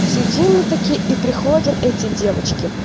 сидим мы такие и приходят эти девочки